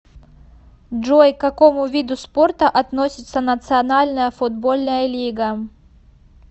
джой к какому виду спорта относится национальная футбольная лига